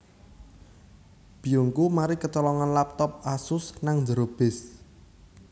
Biyungku mari kecolongan laptop Asus nang njero bis